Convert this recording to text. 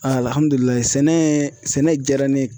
sɛnɛ sɛnɛ jaara ne ye.